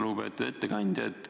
Lugupeetud ettekandja!